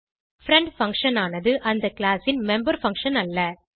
friend function ஆனது அந்த class ன் மெம்பர் பங்ஷன் அல்ல